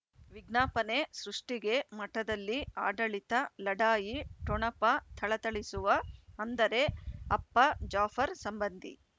ವಿಜ್ಞಾಪನೆ ಸೃಷ್ಟಿಗೆ ಮಠದಲ್ಲಿ ಆಡಳಿತ ಲಢಾಯಿ ಠೊಣಪ ಥಳಥಳಿಸುವ ಅಂದರೆ ಅಪ್ಪ ಜಾಫರ್ ಸಂಬಂಧಿ